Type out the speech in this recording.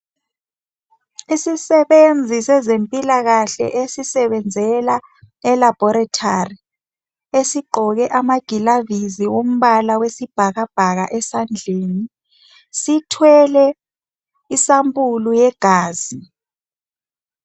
Imisebenzi yezempilakahle esisevenzela e-laboratory. Esigqoke amagilavisi ombala wesibhakabhaka esandleni sithwele isampuli yegazi.